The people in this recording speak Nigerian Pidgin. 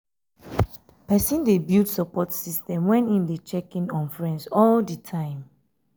persin de build support system when im de check in on friends all di time